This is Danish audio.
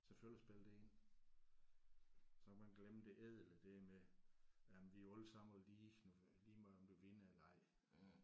Selvfølgelig spiller det ind. Så man glemmer det ædle det med jamen vi er jo alle sammen lige lige meget om du vinder eller ej